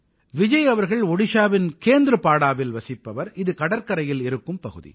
விஜய் அவர்கள் ஒடிஷாவின் கேந்திரபாடாவில் வசிப்பவர் இது கடற்கரையில் இருக்கும் பகுதி